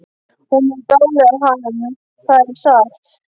Hún er að dáleiða hann, það er satt!